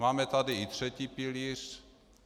Máme tady i třetí pilíř.